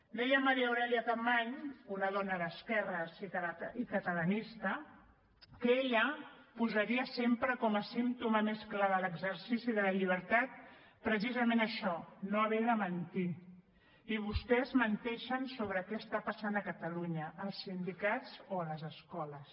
deia maria aurèlia capmany una dona d’esquerres i catalanista que ella posaria sempre com a símptoma més clar de l’exercici de la llibertat precisament això no haver de mentir i vostès menteixen sobre què està passant a catalunya als sindicats o a les escoles